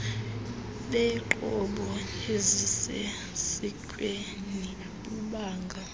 beenqobo ezisesikweni bubanga